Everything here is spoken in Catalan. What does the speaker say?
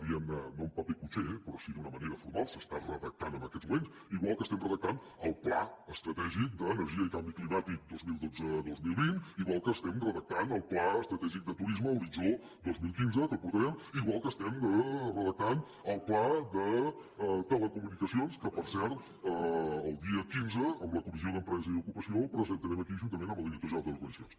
diguem·ne no en paper cuixé però sí d’una manera formal s’està redactant en aquests moments igual que estem redactant el pla estratègic de l’energia i del canvi climàtic dos mil dotze·dos mil vint igual que estem redac·tant el pla estratègic de turisme horitzó dos mil quinze que el portarem igual que estem redactant el pla de teleco·municacions que per cert el dia quinze amb la comissió d’empresa i ocupació el presentarem aquí juntament amb el director general de telecomunicacions